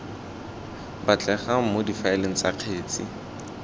batlegang mo difaeleng tsa kgetse